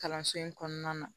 Kalanso in kɔnɔna na